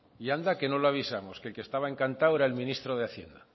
y anda que no lo avisamos que el que estaba encantado era el ministro de hacienda